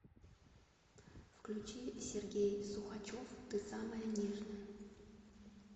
включи сергей сухачев ты самая нежная